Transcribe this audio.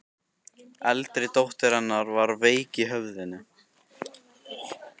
Eldri dóttir hennar var veik í höfðinu.